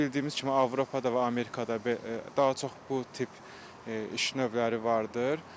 Bildiyimiz kimi Avropada və Amerikada daha çox bu tip iş növləri vardır.